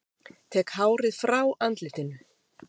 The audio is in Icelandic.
Tek hárið frá andlitinu.